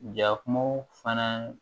Jakumaw fana